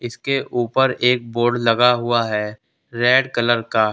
इसके ऊपर एक बोर्ड लगा हुआ है रेड कलर का।